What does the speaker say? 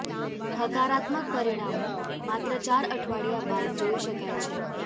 હકારાત્મક પરિણામો માત્ર ચાર અઠવાડિયા બાદ જોઈ શકાય છે